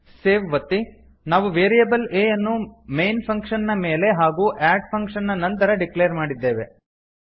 save ಒತ್ತಿ ನಾವು variable a ಯನ್ನು ಮೈನ್ ಫಂಕ್ಷನ್ ನ ಮೇಲೆ ಹಾಗೂ ಅಡ್ ಫಂಕ್ಷನ್ ನ ನಂತರ ಡಿಕ್ಲೇರ್ ಮಾಡಿದ್ದೇವೆ